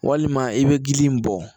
Walima i bɛ gili in bɔ